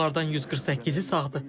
Onlardan 148-i sağdır.